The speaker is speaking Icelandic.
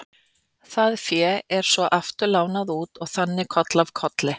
Það fé er svo aftur lánað út og þannig koll af kolli.